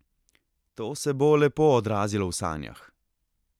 To se bo lepo odrazilo v sanjah!